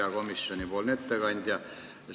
Hea komisjoni ettekandja!